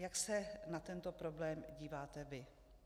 Jak se na tento problém díváte vy?